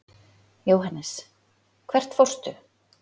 Jóhannes: Hvert fórstu?